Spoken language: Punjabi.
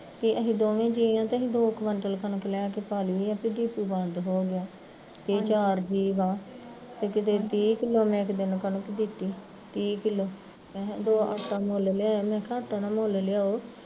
ਅਸੀਂ ਦੋਵੇ ਜੀਅ ਆ ਤੇ ਅਸੀਂ ਦੋ ਕੁਆਟਿਲ ਕਣਕ ਲੈ ਕੇ ਪਾ ਲਈ ਆ ਵੀ ਡਿਪੂ ਬੰਦ ਹੋਗਿਆ ਏਹ ਚਾਰ ਜੀਅ ਆ, ਤੇ ਕਿਤੇ ਤੀਹ ਕਿਲੋ ਮੈਂ ਇੱਕ ਦਿਨ ਕਣਕ ਦਿੱਤੀ, ਤੀਹ ਕਿਲੋ, ਆਟਾ ਮੁਲ ਲਿਆਇਆ ਮੈਂ ਕਿਹਾ ਆਟਾ ਨਾ ਮੁੱਲ ਲਿਆਓ